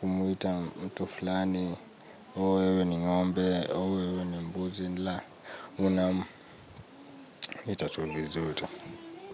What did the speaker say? kumwita mtu fulani, ooh wewe ni ngombe, ooh wewe ni mbuzi, la, unamuita tu vizuri.